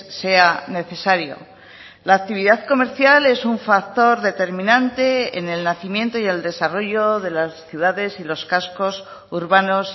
sea necesario la actividad comercial es un factor determinante en el nacimiento y el desarrollo de las ciudades y los cascos urbanos